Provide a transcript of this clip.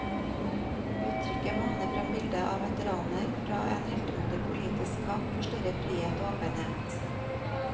Uttrykket maner frem bildet av veteraner fra en heltemodig politisk kamp for større frihet og åpenhet.